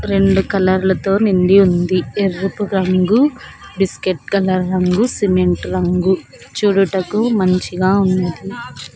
రెండు కలర్ లతో నిండి ఉంది ఎరుపు రంగు బిస్కెట్ కలర్ రంగు సిమెంట్ రంగు చుడుటకు మంచిగా ఉంది.